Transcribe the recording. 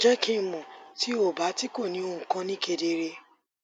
jẹ ki n mọ ti o ba ti ko ni ohun kan ni kedere